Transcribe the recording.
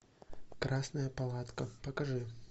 красная палатка покажи